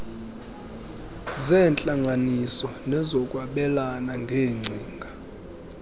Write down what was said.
zeentlanganiso nezokwabelana ngeengcinga